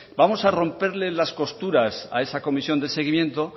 vamos a romperle las costuras a esa comisión de seguimiento